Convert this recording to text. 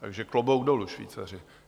Takže klobouk dolů, Švýcaři!